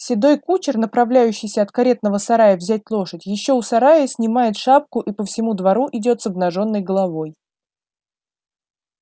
седой кучер направляющийся от каретного сарая взять лошадь ещё у сарая снимает шапку и по всему двору идёт с обнажённой головой